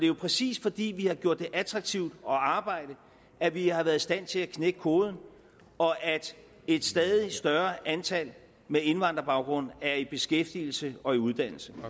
jo præcis fordi vi har gjort det attraktivt at arbejde at vi har været i stand til at knække koden og at et stadig større antal med indvandrerbaggrund er i beskæftigelse og i uddannelse